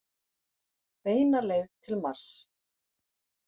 Beina leið til Mars.